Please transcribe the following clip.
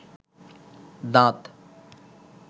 দাঁত